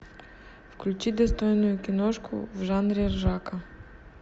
включи достойную киношку в жанре ржака